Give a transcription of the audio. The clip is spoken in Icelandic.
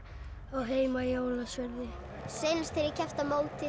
á heima í Ólafsfirði seinast þegar ég keppti á móti